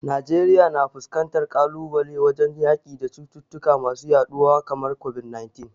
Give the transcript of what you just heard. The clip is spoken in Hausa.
Najeriya na fuskantar kalubale wajen yaki da cututtuka masu yaduwa kamar COVID-19.